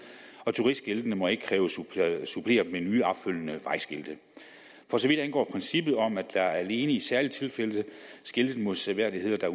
og turistskiltene må ikke kræves suppleret med nye opfølgende vejskilte for så vidt angår princippet om at der alene i særlige tilfælde skiltes med seværdigheder der